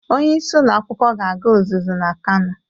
Onyeisi ụlọ akwụkwụ ga-aga ụzụzụ na Kano.